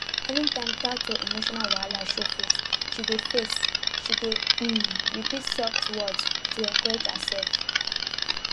anytime doubt or emotional wahala show face she dey face she dey um repeat soft words to encourage herself